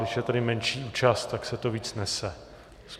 Když je tady menší účast, tak se to víc nese.